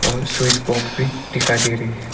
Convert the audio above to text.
और switch box भी दिखाई दे रही है।